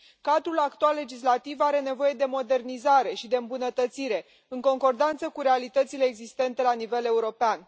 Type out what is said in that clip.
Cadrul actual legislativ are nevoie de modernizare și de îmbunătățire în concordanță cu realitățile existente la nivel european.